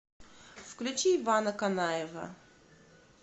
включи ивана канаева